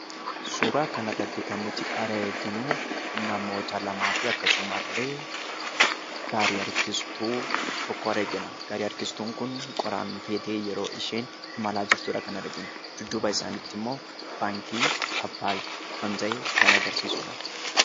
Suuraa kanarratti kan nuti arginu namoota lamaafi akkasumas illee gaarii harjistu tokko argina. Gaarii harkistuun kun qoraan feetee yeroo isheen deemaa jirtudha kan arginu. Dudduuba isaaniitti immoo baankii Abbaay kan argisiisudha.